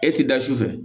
E ti da sufɛ